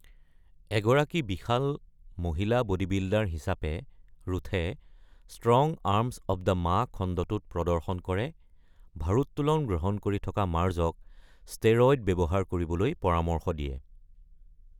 এগৰাকী বিশাল মহিলা বডিবিল্ডাৰ হিচাপে, ৰুথে "strong arms of the Ma" খণ্ডটোত প্ৰদৰ্শন কৰে, ভাৰোত্তোলন গ্ৰহণ কৰি থকা মাৰ্জক ষ্টেৰইড ব্যৱহাৰ কৰিবলৈ পৰামৰ্শ দিয়ে।